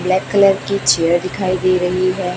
Black colour की chair दिखाई दे रही है।